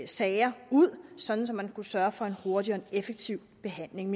sager ud sådan at man kunne sørge få en hurtig og effektiv behandling